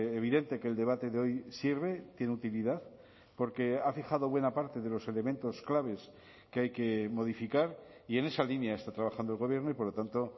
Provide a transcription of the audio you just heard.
evidente que el debate de hoy sirve tiene utilidad porque ha fijado buena parte de los elementos claves que hay que modificar y en esa línea está trabajando el gobierno y por lo tanto